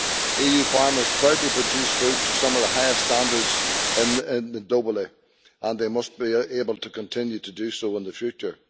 EU farmers proudly produce food to some of the highest standards globally and they must be able to continue to do so in the future.